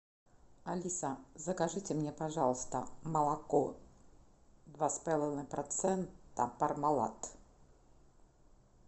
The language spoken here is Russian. алиса закажите мне пожалуйста молоко два с половиной процента пармалат